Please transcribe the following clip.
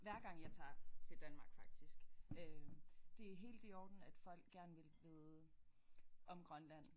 Hver gang jeg tager til Danmark faktisk øh det er helt i orden at folk gerne vil vide om Grønland